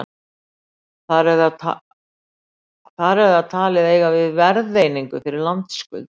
þar er það talið eiga við verðeiningu fyrir landskuld